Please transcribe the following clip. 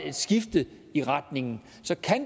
et skifte i retningen